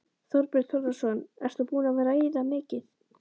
Þorbjörn Þórðarson: Ert þú búin að veiða mikið?